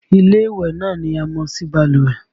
Ilé ìwẹ̀ náà ni a mọ̀ sí balùwẹ̀